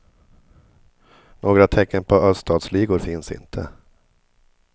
Några tecken på öststatsligor finns inte.